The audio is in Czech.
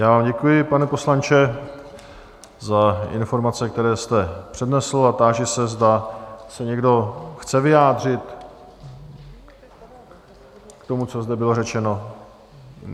Já vám děkuji, pane poslanče, za informace, které jste přednesl, a táži se, zda se někdo chce vyjádřit k tomu, co zde bylo řečeno?